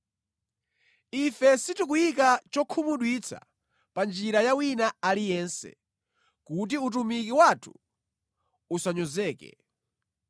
Ife sitikuyika chokhumudwitsa pa njira ya wina aliyense, kuti utumiki wathu usanyozeke.